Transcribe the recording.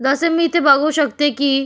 जस मी इथे बघू शकते की --